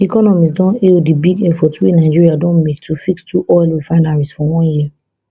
economists don hail di big effort wey nigeria don make to fix two oil refineries for one year